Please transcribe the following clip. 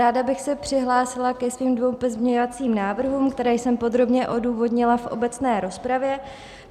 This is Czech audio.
Ráda bych se přihlásila ke svým dvěma pozměňovacím návrhům, které jsem podrobně odůvodnila v obecné rozpravě.